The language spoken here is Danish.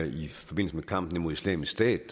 i forbindelse med kampen mod islamisk stat